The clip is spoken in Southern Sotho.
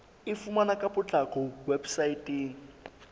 e fumaneha ka potlako weposaeteng